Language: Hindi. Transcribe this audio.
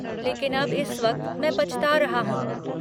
लेकिन अब इस वक्त मैं पछता रहा हूँ।